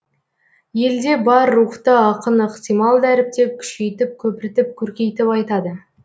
елде бар рухты ақын ықтимал дәріптеп күшейтіп көпіртіп көркейтіп айтады